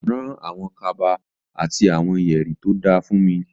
Rán àwọn kaba àti àwọn yẹ̀rì tó da fúnmi.